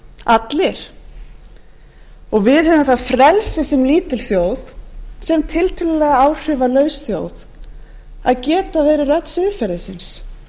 allir og við höfum það frelsi sem lítil þjóð sem tiltölulega áhrifalaus þjóð að geta verið rödd siðferðisins